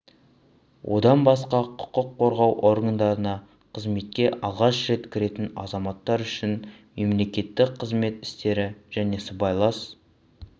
одан басқа құқық қорғау органдарына қызметке алғаш рет кіретін азаматтар үшін мемлекеттік қызмет істері және сыбайлас